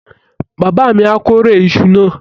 Bàbá mi á kórè iṣu náà.